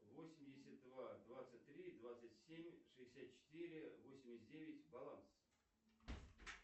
восемьдесят два двадцать три двадцать семь шестьдесят четыре восемьдесят девять баланс